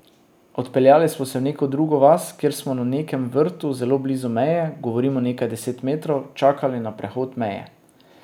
Odpeljali smo se v neko drugo vas, kjer smo na nekem vrtu zelo blizu meje, govorim o nekaj deset metrov, čakali na prehod meje.